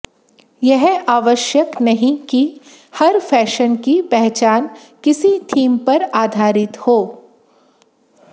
यह आवश्यक नहीं कि हर फैशन की पहचान किसी थीम पर आधारित हो